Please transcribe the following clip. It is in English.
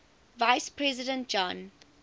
vice president john